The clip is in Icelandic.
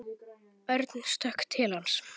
Aðeins einn hængur er á.